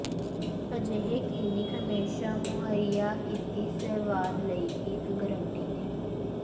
ਅਜਿਹੇ ਕਲੀਨਿਕ ਹਮੇਸ਼ਾ ਮੁਹੱਈਆ ਕੀਤੀ ਸੇਵਾਵ ਲਈ ਇੱਕ ਗਾਰੰਟੀ ਦੇਣ